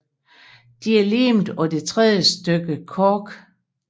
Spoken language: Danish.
De er limet på det tredje stykke kork